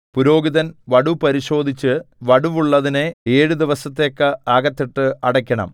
പുരോഹിതൻ വടു പരിശോധിച്ച് വടുവുള്ളതിനെ ഏഴു ദിവസത്തേക്ക് അകത്തിട്ട് അടയ്ക്കണം